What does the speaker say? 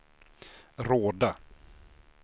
Råda